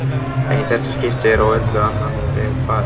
En í þetta skipti er öllu á annan veg farið.